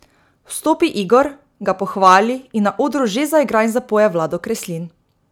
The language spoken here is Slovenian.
Vstopi Igor, ga pohvali in na odru že zaigra in zapoje Vlado Kreslin.